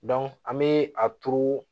an bɛ a turu